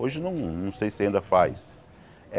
Hoje não não sei se ainda faz.